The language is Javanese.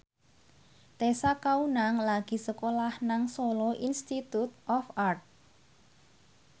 Tessa Kaunang lagi sekolah nang Solo Institute of Art